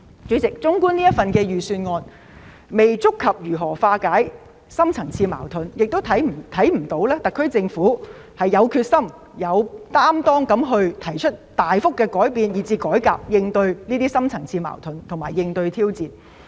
主席，預算案未能觸及如何化解深層次矛盾，特區政府亦沒有決心和擔當，提出大幅度的改變或改革來應對深層次矛盾和挑戰。